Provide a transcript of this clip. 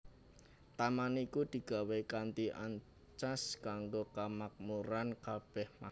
Taman iku digawé kanthi ancas kanggo kamakmuran kabèh makhluk